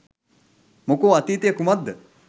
මොකෝ අතීතය කුමක්ද